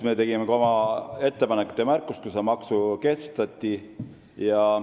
Me tegime ka oma ettepanekud ja märkused, kui see maks kehtestati.